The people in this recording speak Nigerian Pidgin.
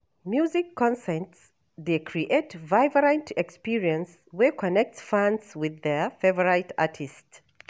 Music concerts dey create vibrant experiences wey connect fans with their favorite artists.